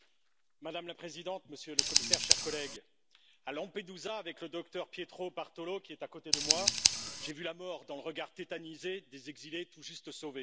Madame la Présidente, Monsieur le Commissaire, chers collègues, à Lampedusa, avec le docteur Pietro Bartolo, qui est à côté de moi, j'ai vu la mort dans le regard tétanisé des exilés tout juste sauvés.